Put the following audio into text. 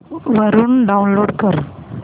वरून डाऊनलोड कर